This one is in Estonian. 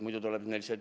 Muidu tuleb neil see ...